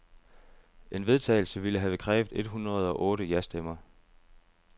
En vedtagelse ville have krævet et hundrede og otte jastemmer.